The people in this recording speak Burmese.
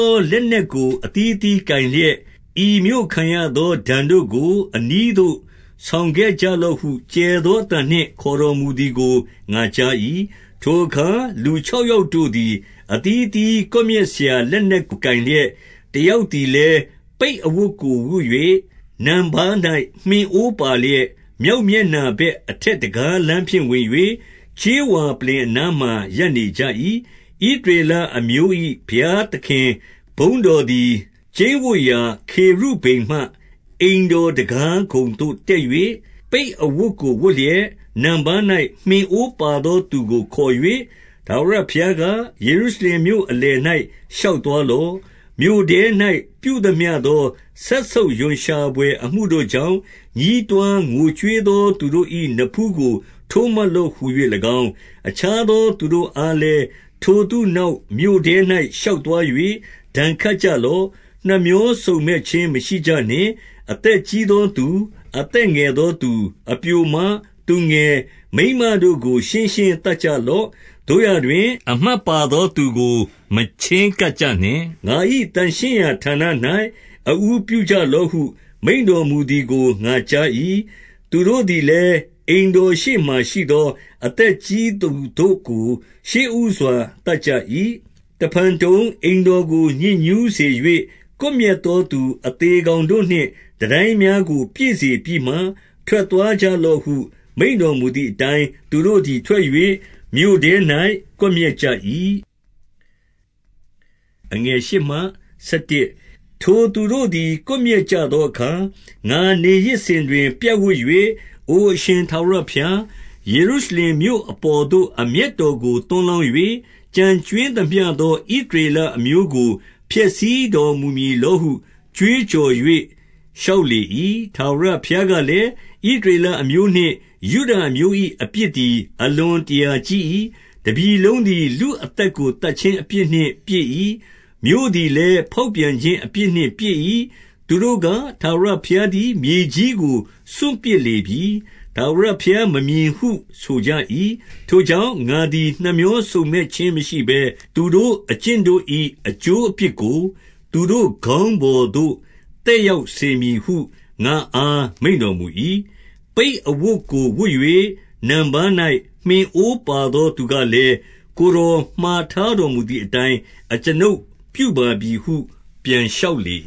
ော လက်နက်ကို အသီးအသီး ကိုင် လျက်၊ ဤမြို့ခံရသောဒဏ်တို့ကို အနီးသို့ဆောင်ခဲ့ကြ လော့ဟု ကျယ်သောအသံနှင့် ခေါ်တော်မူသည်ကို ငါကြား၏။ 2 ထိုအခါ လူမြောက်ယောက်တို့သည် အသီး အသီး ကွပ်မျက်စရာ လက်နက်ကို ကိုင်လျက်၊ တယောက် သည်လည်း၊ ပိတ်အဝတ်ကိုဝတ်၍ နံပါး၌ မှင်အိုးပါလျက်၊ မြောက်မျက်နှာဘက် အထက်တံခါးလမ်းဖြင့် ဝင်၍၊ ကြေးဝါပလ္လင်အနားမှာရပ်နေကြ၏။ 3 ဣသရေလအမျိုး၏ဘုရားသခင် ဘုန်းတော် သည် ကျိန်းဝပ်ရာ ခေရုဗိမ်မှအိမ်တော်တံခါးခုံသို့တက်၍၊ ပိတ်အဝတ်ကိုဝတ်လျက်၊ နံပါး၌ မှင်အိုးပါသော သူကို ခေါ်၍၊ 4 ထာဝရဘုရားက၊ ယေရုရှလင်မြို့အလယ်၌ ရှောက်သွားလော့။ မြို့ထဲ၌ ပြုသမျှသော စက်ဆုပ်ရွံ့ရှာ ဘွယ်အမှုတို့ကြောင့်၊ ညည်းတွားငိုကြွေးသောသူတို့၏ နဖူးကို ထိုးမှတ်လော့ဟူ၍၎င်း၊ 5 အခြားသော သူတို့အားလည်း၊ ထိုသူနောက် မြို့ထဲ၌ ရှောက်သွား၍ ဒဏ်ခတ်ကြလော့။ နှမြောစုံမက် ခြင်းမရှိကြနှင့်။ 6 အသက်ကြီးသောသူ၊ အသက်ငယ်သောသူ၊ အပျိုမ၊ သူငယ်၊ မိန်းမတို့ကို ရှင်းရှင်းသတ်ကြလော့။ သို့ရာတွင်၊ အမှတ်ပါသောသူကို မချဉ်းကပ်ကြနှင့်။ ငါ၏ သန့်ရှင်းရာဌာန၌ အဦးပြုကြလော့ဟု မိန့်တော်မူသည် ကို ငါကြား၏။ သူတို့သည်လည်း၊ အိမ်တော်ရှေ့မှာရှိသော အသက်ကြီးသူတို့ကို ရှေ့ဦးစွာ သတ်ကြ၏။ 7 တဖန်တုံ၊ အိမ်တော်ကိုညစ်ညူးစေ၍၊ ကွပ်မျက် သော သူအသေကောင်တို့နှင့် တန်တိုင်းများကို ပြည့်စေပြီးမှ ထွက်သွားကြလော့ဟု မိန့်တော်မူသည် အတိုင်း၊ သူတို့သည်ထွက်၍ မြို့ထဲ၌ကွပ်မျက်ကြ၏။ 8 ထိုသို့သူတို့သည် ကွပ်မျက်ကြသောအခါ၊ ငါ နေရစ်စဉ်တွင် ပြပ်ဝပ်၍၊ အိုအရှင်ထာဝရဘုရား၊ ယေရု ရှလင်မြို့အပေါ်သို့ အမျက်တော်ကို သွန်းလောင်း၍၊ ကျန်ကြွင်းသမျှသော ဣသရေလအမျိုးကို ဖျက်ဆီးတော် မူမည်လောဟု ကြွေးကြော်၍လျှောက်လေ၏။ 9 ထာဝရဘုရားကလည်း၊ ဣသရေလအမျိုးနှင့် ယုဒ အမျိုး၏အပြစ်သည် အလွန်တရာကြီး၏ တပြည်လုံးသည် လူအသက်ကိုသတ်ခြင်းအပြစ်နှင့်ပြည့်၏။ မြို့သည်လည်း ဖော်ပြန်ခြင်း အပြစ်နှင့်ပြည့်၏။ သူတို့က၊ ထာဝရဘုရား သည် မြေကြီးနှင့်စွန့်ပစ်လေပြီ။ ထာဝရဘုရားမမြင်ဟု ဆိုကြ၏။ 10 ထိုကြောင့်၊ ငါသည် နှမြောစုံမက်ခြင်းမရှိဘဲ၊ သူတို့အကျင့်တို့၏ အကျိုးအပြစ်ကို သူတို့ခေါင်းပေါ်သို့ သက်ရောက်စေမည်ဟု ငါ့အား မိန့်တော်မူ၏။ 11 ပိတ်အဝတ်ကို ဝတ်၍နံပါး၌ မှင်အိုးပါသော သူကလည်း၊ ကိုယ်တော်မှာထားတော်မူသည်အတိုင်း အကျွန်ုပ်ပြုပါပြီဟု ပြန်လျှောက်လေ